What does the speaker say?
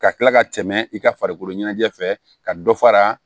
Ka kila ka tɛmɛ i ka farikolo ɲɛnajɛ fɛ ka dɔ fara